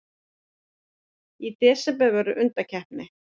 Í desember verður undankeppni.